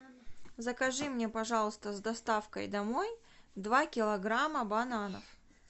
закажи мне пожалуйста с доставкой домой два килограмма бананов